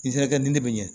N terikɛ nin ne bɛ ɲɛ